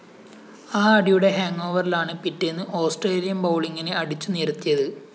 ആ അടിയുടെ ഹാങ്ങോവറിലാണ് പിറ്റേന്ന് ഓസ്‌ട്രേലിയന്‍ ബൗളിങ്ങിനെ അടിച്ചു നിരത്തിയത്